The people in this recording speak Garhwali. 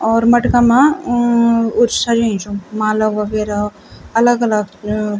और मटका मा अ कुछ सजयूँ च माला वगैरा अलग-अलग अ।